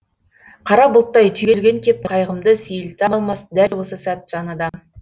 қара бұлттай түйілген кеп қайғымды сейілте алмас дәл осы сәт жан адам